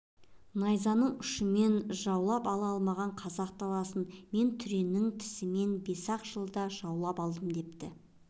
найзаның ұшымен жаулап ала алмаған қазақ даласын мен түреннің тісімен бес-ақ жылда жаулап алдым депті